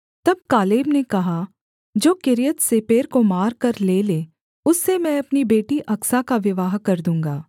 तब कालेब ने कहा जो किर्यत्सेपेर को मारकर ले ले उससे मैं अपनी बेटी अकसा का विवाह कर दूँगा